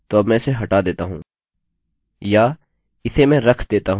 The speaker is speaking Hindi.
ठीक है तो अब मैं इसे हटा देता हूँ या इसे मैं रख देता हूँ